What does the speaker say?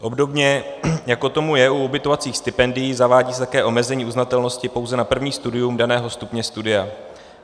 Obdobně jako tomu je u ubytovacích stipendií, zavádí se také omezení uznatelnosti pouze na první studium daného stupně studia.